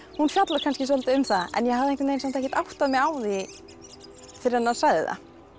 hún fjallar kannski svolítið um það en ég hafði samt ekkert áttað mig á því fyrr en hann sagði það